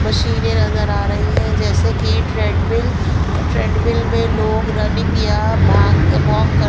मशीनें नजर आ रही है जैसे कि ट्रेडमिल ट्रेडमिल में लोग रनिंग या भाग वॉक कर--